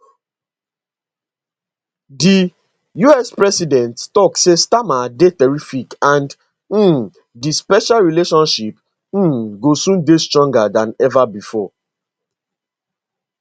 di us president tok say starmer dey terrific and um di special relationship um go soon dey stronger dan ever bifor